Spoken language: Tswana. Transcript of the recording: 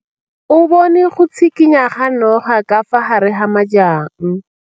O bone go tshikinya ga noga ka fa gare ga majang.